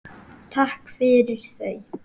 Takk fyrir þau.